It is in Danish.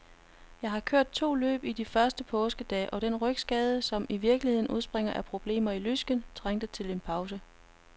Jeg har kørt to løb i de første påskedage, og den rygskade, som i virkeligheden udspringer af problemer i lysken, trængte til en pause.